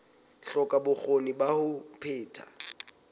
hloka bokgoni ba ho phetha